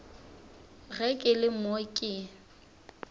ge ke le mo ke